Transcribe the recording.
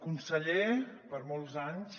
conseller per molts anys